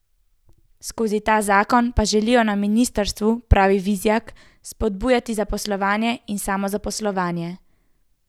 Skozi ta zakon pa želijo na ministrstvu, pravi Vizjak, spodbujati zaposlovanje in samozaposlovanje.